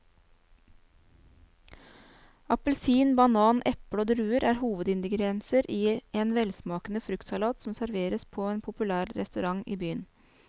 Appelsin, banan, eple og druer er hovedingredienser i en velsmakende fruktsalat som serveres på en populær restaurant i byen.